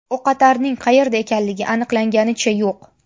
O‘qotarning qayerda ekanligi aniqlanganicha yo‘q.